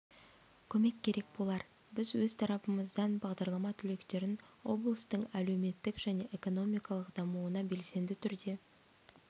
көмек керек болар біз өз тарапымыздан бағдарлама түлектерін облыстың әлеуметтік және экономикалық дамуына белсенді түрде